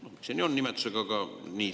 Selliselt seda nimetatakse.